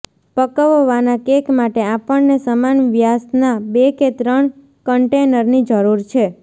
પકવવાના cake માટે આપણને સમાન વ્યાસના બે કે ત્રણ કન્ટેનરની જરૂર છે